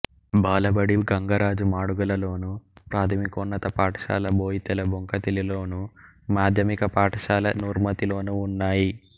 బాలబడి గంగరాజు మాడుగులలోను ప్రాథమికోన్నత పాఠశాల బోయితెలబొంకతిలిలోను మాధ్యమిక పాఠశాల నుర్మతిలోనూ ఉన్నాయి